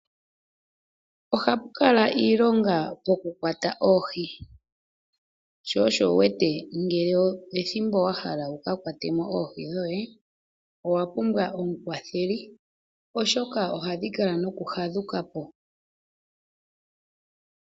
Ohapu kala iilonga pokukwata oohi, sho osho wu wete ngele ethimbo wa hala wu ka kwate mo oohi dhoye owa pumbwa omukwatheli oshoka ohadhi kala noku hadhuka po.